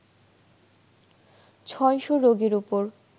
৬০০ রোগীর ওপর